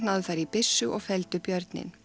þar í byssu og felldu björninn